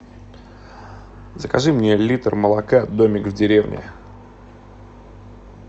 закажи мне литр молока домик в деревне